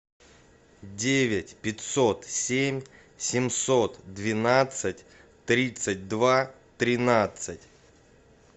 девять пятьсот семь семьсот двенадцать тридцать два тринадцать